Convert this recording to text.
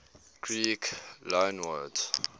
greek loanwords